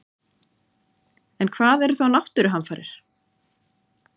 En hvað eru þá náttúruhamfarir?